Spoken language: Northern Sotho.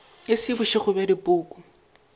e se bošego bja dipoko